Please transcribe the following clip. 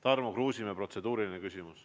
Tarmo Kruusimäe, protseduuriline küsimus.